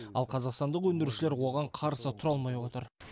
ал қазақстандық өндірушілер оған қарсы тұра алмай отыр